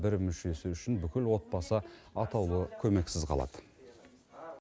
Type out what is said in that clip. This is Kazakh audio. бір мүшесі үшін бүкіл отбасы атаулы көмексіз қалады